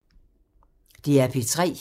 DR P3